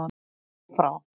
Af og frá